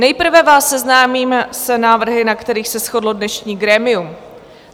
Nejprve vás seznámím s návrhy, na kterých se shodlo dnešní grémium.